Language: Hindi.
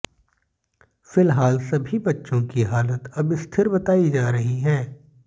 फिलहाल सभी बच्चों की हालत अब स्थिर बताई जा रही है